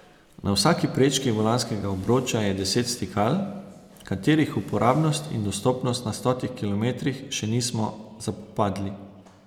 Na vsaki prečki volanskega obroča je deset stikal, katerih uporabnost in dostopnost na stotih kilometrih še nismo zapopadli.